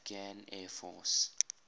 afghan air force